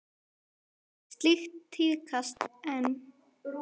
Styðjið þið ennþá Sigmund Davíð?